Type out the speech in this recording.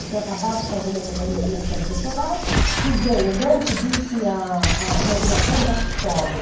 Eu tinha acabado de fazer minha de minha minha tese de doutorado e vem, o Dante diz que a a imaginação é um lugar que chove.